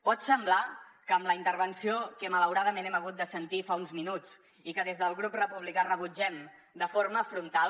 pot semblar que amb la intervenció que malauradament hem hagut de sentir fa uns minuts i que des del grup republicà rebutgem de forma frontal